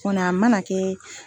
kɔni a mana kɛ